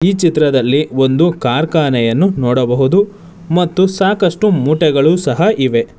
ಚಿತ್ರದಲ್ಲಿ ಒಂದು ಕಾರ್ಖಾನೆಯನ್ನು ನೋಡಬಹುದು ಮತ್ತು ಸಾಕಷ್ಟು ಮೂಟೆಗಳು ಸಹ ಇವೆ.